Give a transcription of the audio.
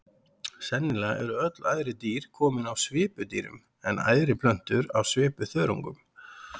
Sennilega eru öll æðri dýr komin af svipudýrum en æðri plöntur af svipuþörungum.